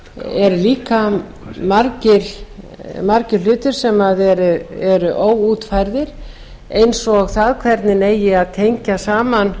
eru líka margir hlutir sem eru óútfærðir eins og það hvernig eigi að tengja saman